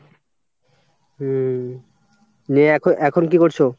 হুম নিয়ে এখন এখন কি করছো?